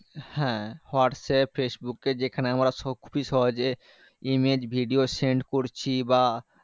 হ্যাঁ হোয়াটস্যাপ ফেসবুকে যেখানে আমরা সবকিছু সহজে image video send করছি বা